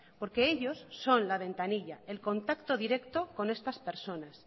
porque ellos son la ventanilla el contacto directo con estas personas